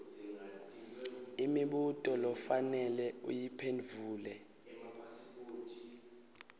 imibuto lofanele uyiphendvule